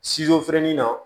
Sizo fɛrɛnin na